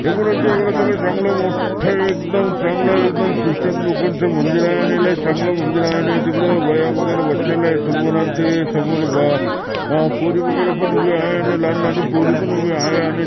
आपण इथे एक प्रकारे चांगलं मोठ एकदम चांगलं एकदम ख्रिचन लोकांचं मंदिर आहे आणि येला एक चांगलं मंदिर आहे आणि तिकड बाया वगैरे बसलेले आहे समोर अन ते समोर बा अ पोरी वगैरे पण उभे आहे आणि लहान लहान पोरी पण उभे आहे आणि--